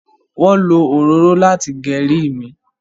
wón ló òróró láti Geri mí.